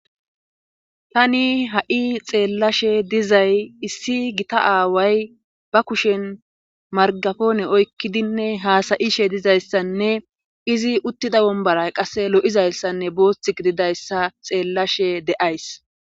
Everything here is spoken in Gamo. Tani ha'i xeellashe dizay issi gita aaway ba kushen margafoone oykkidinne haasayishe dizayssanne izi uttida wombaray qasse lo'izayssanne booththik didayssa xeellashe de'ays